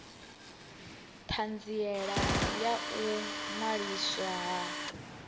thanziela ya u ṅwaliswa ha